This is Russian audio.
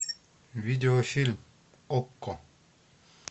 видеофильм окко